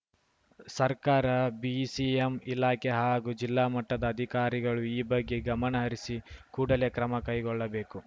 ಸರ್ಕಾರ ಬಿಸಿಎಂ ಇಲಾಖೆ ಹಾಗೂ ಜಿಲ್ಲಾ ಮಟ್ಟದ ಅಧಿಕಾರಿಗಳು ಈ ಬಗ್ಗೆ ಗಮನಹರಿಸಿ ಕೂಡಲೇ ಕ್ರಮ ಕೈಗೊಳ್ಳಬೇಕು